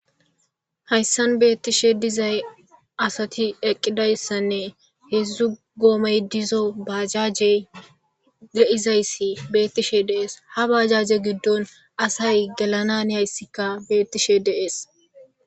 Hayssan bethishe assathi eqqidaysanne hezzu gomay dizzo bajaje de'zayse bethishe dees. Ha bajaje gidon assay gelananiysika bethishe de'ss.